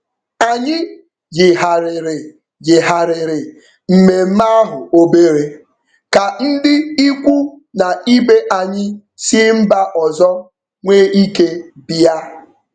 Anyị yigharịrị yigharịrị mmemme ahụ obere ka ndị ikwu na ibe anyị si mba ọzọ nwee ike bịa.